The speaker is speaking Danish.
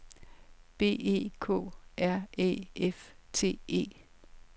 B E K R Æ F T E